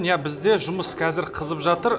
иә бізде жұмыс қазір қызып жатыр